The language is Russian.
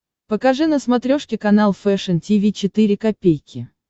покажи на смотрешке канал фэшн ти ви четыре ка